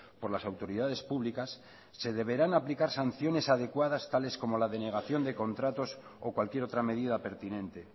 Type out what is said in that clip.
por las autoridades públicas se deberán aplicar sanciones adecuadas tales como la denegación de contratos o cualquier otra medida pertinente